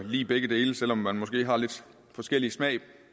lide begge dele selv om man måske har lidt forskellig smag